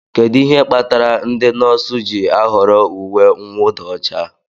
Kedu ihe kpatara ndị nọọsụ ji ahọrọ uwe mwụda ọcha?